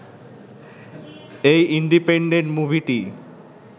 এই ইন্ডিপেনডেন্ট মুভিটি